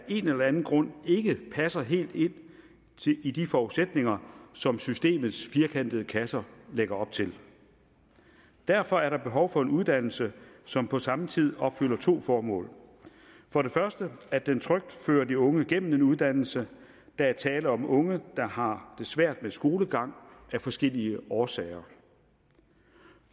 en eller anden grund ikke passer helt ind i de forudsætninger som systemets firkantede kasser lægger op til derfor er der behov for en uddannelse som på samme tid opfylder to formål for det første at den fører de unge trygt gennem en uddannelse der er tale om unge der har det svært med skolegang af forskellige årsager